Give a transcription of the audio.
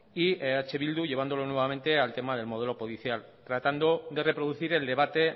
y eh bildu llevándolo nuevamente al tema del modelo judicial tratando de reproducir el debate